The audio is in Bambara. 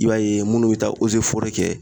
I b'a ye munnu be taa ozeforɛ kɛ